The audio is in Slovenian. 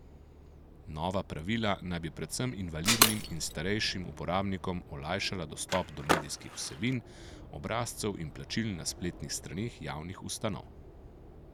Nova pravila naj bi predvsem invalidnim in starejšim uporabnikom olajšala dostop do medijskih vsebin, obrazcev in plačil na spletnih straneh javnih ustanov.